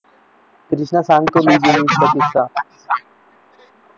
कृष्णा सांग तो मीडियम चा किस्सा